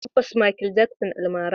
Tabbas, Makel Jaksin almara ne.